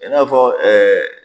E b'a fɔ